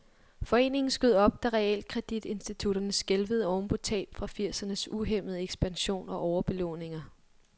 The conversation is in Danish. Foreningen skød op, da realkreditinstitutterne skælvede oven på tab fra firsernes uhæmmede ekspansion og overbelåninger.